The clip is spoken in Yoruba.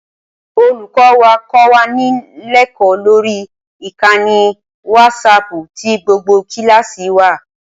Olùkọ́ wa kọ́ wa lẹ́kọ̀ọ́ lórí ìkànnì wásaaàpù tí gbogbo kíláàsì wa wà